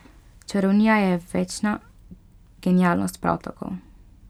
Čarovnija je večna, genialnost prav tako.